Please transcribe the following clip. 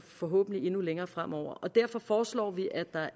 forhåbentlig endnu længere fremover og derfor foreslår vi at der